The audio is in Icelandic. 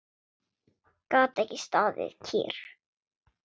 Gat ekki staðið kyrr.